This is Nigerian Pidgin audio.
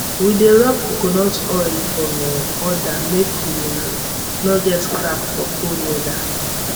we dey rub coconut oil for um udder make e um nor get crack for cold weather